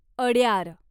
Adyar